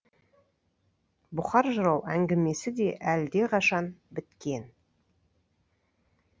бұқар жырау әңгімесі де әлдеқашан біткен